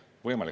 Võimalik!